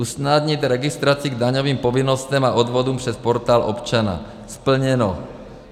Usnadnit registraci k daňovým povinnostem a odvodům přes Portál občana - splněno.